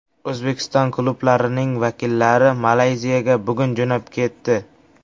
O‘zbekiston klublarining vakillari Malayziyaga bugun jo‘nab ketdi.